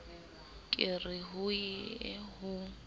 ke re ho ye ho